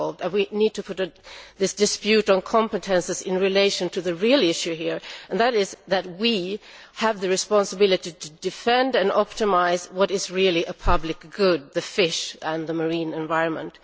We need to put this dispute on competences into perspective in relation to the real issue here, which is that we have the responsibility to defend and optimise what is really a public good fish and the marine environment.